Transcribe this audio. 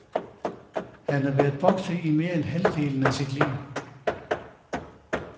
Han har været bokser i mere end halvdelen af sit liv.